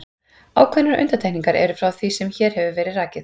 ákveðnar undantekningar eru frá því sem hér hefur verið rakið